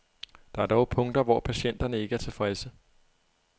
Der er dog punkter, hvor patienterne ikke er tilfredse.